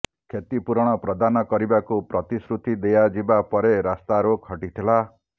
କ୍ଷତିପୂରଣ ପ୍ରଦାନ କରିବାକୁ ପ୍ରତିଶ୍ରୁତି ଦିଆଯିବା ପରେ ରାସ୍ତାରୋକ ହଟିଥିଲା